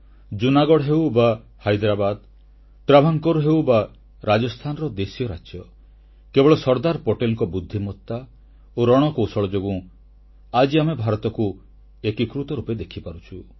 ଜୁନାଗଡ଼ ହେଉ ବା ହାଇଦ୍ରାବାଦ ଟ୍ରାଭାଙ୍କୋର ହେଉ ବା ରାଜସ୍ଥାନର ଦେଶୀୟ ରାଜ୍ୟ କେବଳ ସର୍ଦ୍ଦାର ପଟେଲଙ୍କ ବୁଦ୍ଧିମତା ଓ ରଣକୌଶଳ ଯୋଗୁଁ ଆଜି ଆମେ ଭାରତକୁ ଏକୀକୃତ ରୂପେ ଦେଖିପାରୁଛୁ